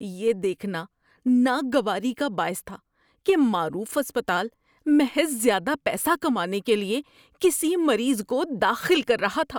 یہ دیکھنا ناگواری کا باعث تھا کہ معروف اسپتال محض زیادہ پیسہ کمانے کے لیے کسی مریض کو داخل کر رہا تھا۔